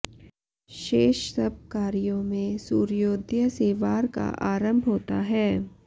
शेष सब कार्यों में सूर्योदय से वार का आरम्भ होता है